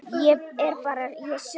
Ég er bara ég sjálf.